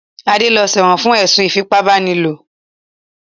Adé lọ sẹ́wọ̀n fún ẹ̀sùn ìfípábánilòpọ̀.